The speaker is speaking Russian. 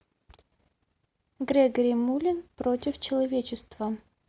грегори мулин против человечества